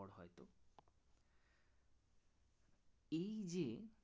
এই যে